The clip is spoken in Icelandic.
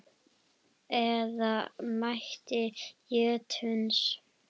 eða ætt jötuns